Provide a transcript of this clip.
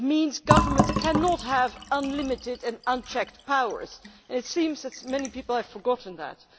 it means governments cannot have unlimited and unchecked powers, and it seems that many people have forgotten that.